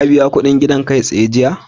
Ka biya kuɗin gidan kai-tsaye jiya?